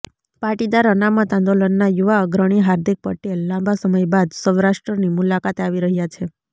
પાટીદાર અનામત આંદોલનના યુવા અગ્રણી હાર્દિક પટેલ લાંબા સમય બાદ સૌરાષ્ટ્રની મુલાકાતે આવી રહ્યા છે